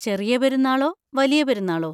ചെറിയ പെരുന്നാളോ? വലിയ പെരുന്നാളോ?